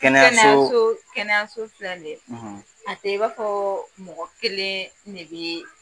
Kɛnɛyaso; kɛnɛyaso kɛnɛyaso filɛl ni ye; ; A tɛ i b'a fɔɔɔ mɔgɔ keleeen ne bɛ